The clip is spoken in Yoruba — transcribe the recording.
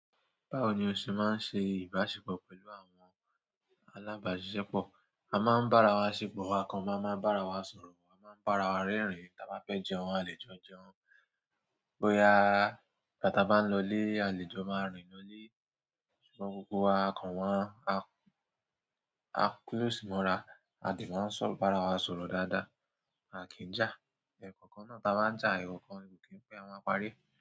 Báwo ni o ṣe máa ń ṣe ìbáṣepọ̀ pẹ̀lú àwọn alábàáṣiṣẹ́pọ̀? A máa ń bára wa ṣépọ̀, akàn máa ń bára wa sọ̀rọ̀, a máa ń bára wa rẹ́rìn-ín tí a bá fẹ́ jẹun, àlejò jẹun. Bóyá igbá tí bá ń lọ ilé, àlejò máa rìn lọ ilé. Ṣùgbọ́n gbogbo wa akàn wọn, a close mọ́ra, a dẹ máa ń sọ̀rọ̀, bára wa sọ̀rọ̀ dáadáa. A kì ń jà. Ẹ̀kọkan náà táa bá ń jà ẹkọkan, kò kí n pẹ́, à ma á parí.